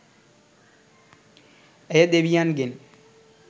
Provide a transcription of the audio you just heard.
ඇය දෙවියන් ගෙන්